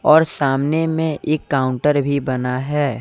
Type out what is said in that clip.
और सामने में एक काउंटर भी बना है।